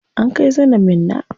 An kai zainab Minna.